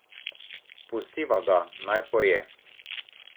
Pustiva ga, naj poje.